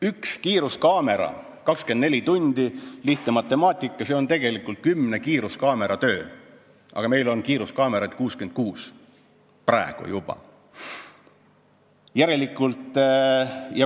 Üks kiiruskaamera ja 24 tundi – lihtne matemaatika, see on tegelikult 10 kiiruskaamera töö, aga meil on kiiruskaameraid juba praegu 66.